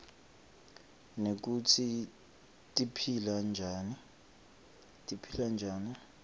nekutsi tiphila njani